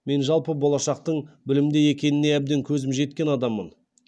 мен жалпы болашақтың білімде екеніне әбден көзім жеткен адаммын